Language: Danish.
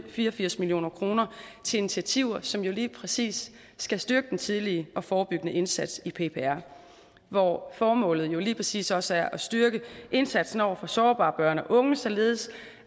fire og firs million kroner til initiativer som lige præcis skal styrke den tidlige og forebyggende indsats i ppr hvor formålet jo lige præcis også er at styrke indsatsen over for sårbare børn og unge således